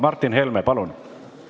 Martin Helme, palun!